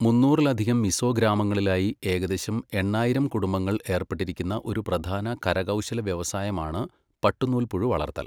മൂന്നൂറിലധികം മിസോ ഗ്രാമങ്ങളിലായി ഏകദേശം എണ്ണായിരം കുടുംബങ്ങൾ ഏർപ്പെട്ടിരിക്കുന്ന ഒരു പ്രധാന കരകൗശല വ്യവസായമാണ് പട്ടുനൂൽപ്പുഴു വളർത്തൽ.